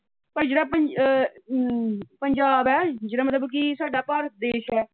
ਪਰ ਜਿਹੜਾ ਪੰਜ ਅਮ ਪੰਜਾਬ ਹੈ ਜਿਹੜਾ ਮਤਲਬ ਕਿ ਸਾਡਾ ਭਾਰਤ ਦੇਸ਼ ਹੈ।